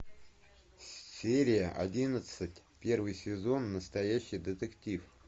серия одиннадцать первый сезон настоящий детектив